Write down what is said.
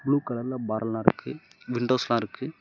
Blue கலர்ல பர்னா இருக்கு விண்டோஸ்லா இருக்கு.